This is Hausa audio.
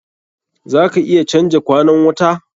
Za ka iya canja kwanan wta?